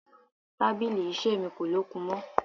Tábìlì iṣẹ́ mi kò lókun mọ́.